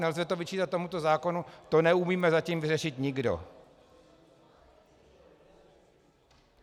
Nelze to vyčítat tomuto zákonu, to neumíme zatím vyřešit nikdo.